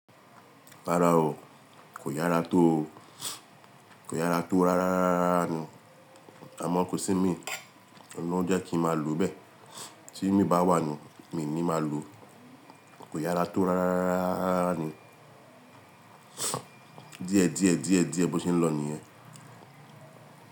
Rárá o. Kò yára tó o. Kò yára tó rárá ni. Àmọ̀ ko sí mí, ọun lọ́ jekí n máa lo bẹ́ẹ̀ tí imi bá wà ni, mí ní máa lo. Kò yára tó rárá ni. Díẹ̀ díẹ̀ díẹ̀ bó se ń lọ nìyẹn.